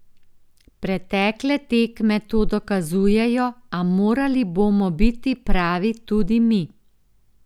Pretekle tekme to dokazujejo, a morali bomo biti pravi tudi mi.